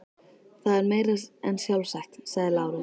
Það er meira en sjálfsagt, sagði Lárus.